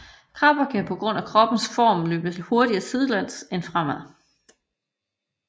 Krabber kan på grund af kroppens form løbe hurtigere sidelæns end fremad